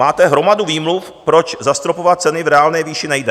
Máte hromadu výmluv, proč zastropovat ceny v reálné výši nejde.